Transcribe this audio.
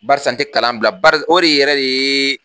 Bakarisa n te kalan bila bari o de yɛrɛ de ye